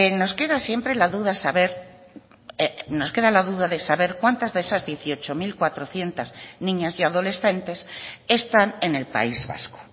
nos queda siempre la duda de saber cuántas de esas dieciocho mil cuatrocientos niñas y adolescentes están en el país vasco